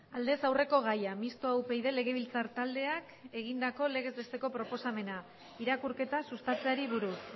aldez aurreko gaia mistoa upyd legebiltzar taldeak egindako legez besteko proposamena irakurketa sustatzeari buruz